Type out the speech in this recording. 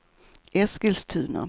Eskilstuna